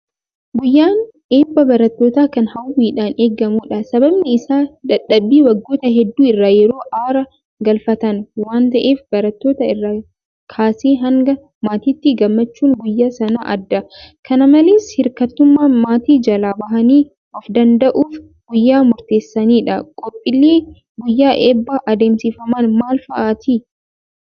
Guyyaan eebba barattootaa kan hawwiidhaan eegamudha. Sababni isaas dadhabbii waggoota hedduu irraa yeroo aara galfatan waanta'eef barattoota irraa kaasee hanga maatiitti gammachuun guyyaa sanaa adda. Kana malees hirkattummaa maatii jalaa bahanii ofdanda'uuf guyyaa murteessaadha .Qophiileen guyyaa eebbaa adeemsifaman maal fa'aati?